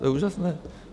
To je úžasné!